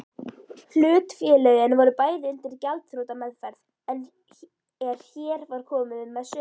Hlutafélögin voru bæði undir gjaldþrotameðferð er hér var komið sögu.